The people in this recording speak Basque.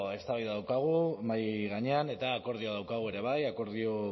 eztabaida daukagu mahai gainean eta akordioa daukagu ere bai akordio